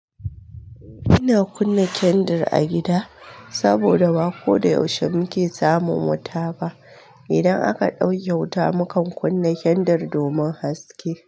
Ina kunna kendir a gida saboda ba ko da yaushe muke samun wuta ba. Idan aka ɗauke wuta, mukan kunna kendir domin haske.